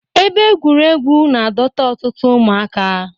Ebe egwuregwu na-adọta ọtụtụ ụmụaka.